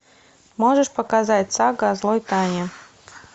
можешь показать сага о злой тане